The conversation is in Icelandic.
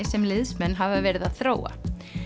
sem liðsmenn hafa verið að þróa